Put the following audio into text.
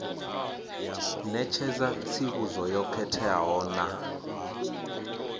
ṋetshedza tsivhudzo yo khetheaho na